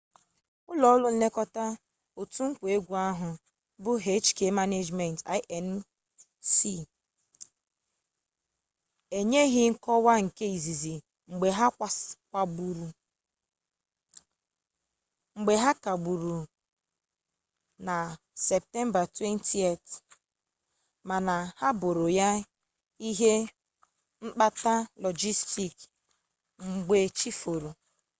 ụlọ ọrụ nlekọta otu nkwa egwu ahụ bụ hk management inc enyeghị nkọwa nke izizi mgbe ha kagburu na septemba 20 mana ha boro ya ihe mkpata lọjistik mgbe chi foro